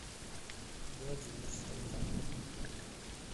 владимир салтанов